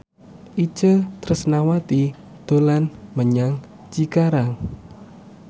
Itje Tresnawati dolan menyang Cikarang